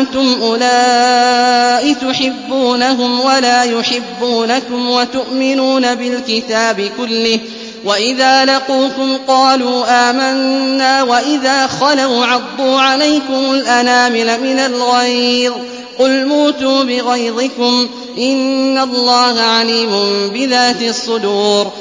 أَنتُمْ أُولَاءِ تُحِبُّونَهُمْ وَلَا يُحِبُّونَكُمْ وَتُؤْمِنُونَ بِالْكِتَابِ كُلِّهِ وَإِذَا لَقُوكُمْ قَالُوا آمَنَّا وَإِذَا خَلَوْا عَضُّوا عَلَيْكُمُ الْأَنَامِلَ مِنَ الْغَيْظِ ۚ قُلْ مُوتُوا بِغَيْظِكُمْ ۗ إِنَّ اللَّهَ عَلِيمٌ بِذَاتِ الصُّدُورِ